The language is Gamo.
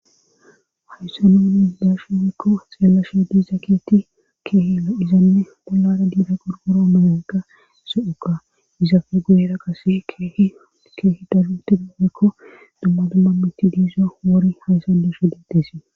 Hayssa nu ni iidashi mekko xeellashe diza keti keehia izanne bollara diida gorgoro amayanka eso'oqa izafe guyera qase hkeehi dalute damekko dumma dumma mitti diizo wori haysan dushe detesi.